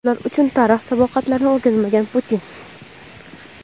ular uchun tarix saboqlarini o‘rganmagan – Putin.